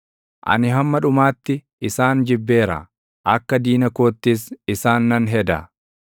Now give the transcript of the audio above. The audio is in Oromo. Ani hamma dhumaatti isaan jibbeera; akka diina koottis isaan nan heda.